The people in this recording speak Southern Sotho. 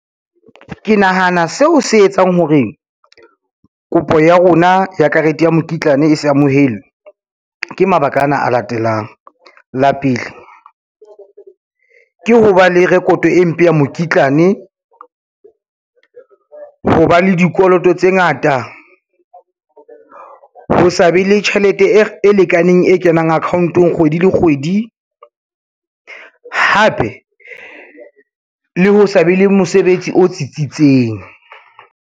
Ke nahana seo se etsang hore, kopo ya rona ya karete ya mokitlane e se amohelwe ke mabaka ana a latelang. La pele, ke ho ba le rekoto e mpe ya mokitlane. Ho ba le dikoloto tse ngata, ho sa be le tjhelete e lekaneng e kenang account-ong kgwedi le kgwedi, hape le ho sa be le mosebetsi o tsitsitseng.